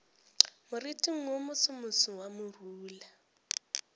moriting wo mosomoso wa morula